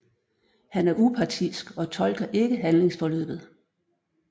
Han er upartisk og tolker ikke handlingsforløbet